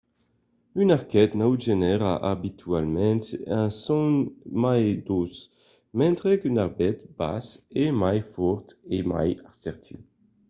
un arquet naut genèra abitualament un son mai doç mentre qu’un arquet bas es mai fòrt e mai assertiu